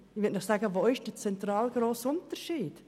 Wo ist der zentrale, grosse Unterschied?